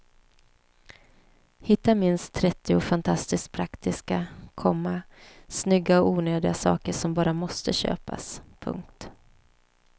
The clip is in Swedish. Hitta minst trettio fantastiskt praktiska, komma snygga och onödiga saker som bara måste köpas. punkt